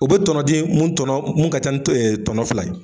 O bɛ tɔnɔ d'i ye mun tɔnɔ mun ka ca ni tɔnɔ fila ye .